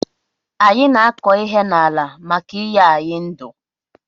Anyi na akọ ihe na ala maka inye anyi ndu